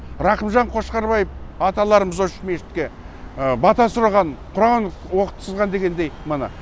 рақымжан қошқарбаев аталарымыз осы мешітке бата сұраған құран оқытқызған дегендей міне